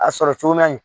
A sɔrɔ cogo man ɲi